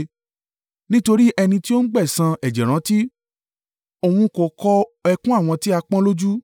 Nítorí ẹni tí ó ń gbẹ̀san ẹ̀jẹ̀ rántí; òun kò kọ ẹkún àwọn tí a pọ́n lójú.